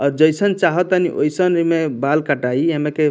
अ जईसन चाहतनी ओइसन इमें बाल कटाई एमे के --